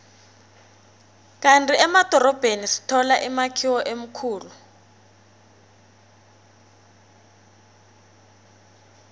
kandi emadorobheni sithola imakhiwo emikhulu